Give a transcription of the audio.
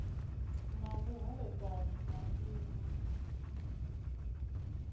na vhuholefhali na iv u